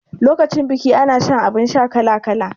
Lokacin biki ana shan abun sha kala kala